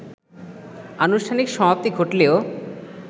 আনুষ্ঠানিক সমাপ্তি ঘটলেও